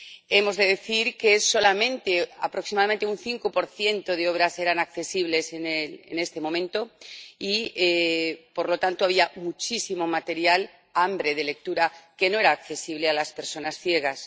Hemos de decir que solamente aproximadamente un 5 de obras eran accesibles en este momento y, por lo tanto, había muchísimo material, hambre de lectura, que no era accesible a las personas ciegas.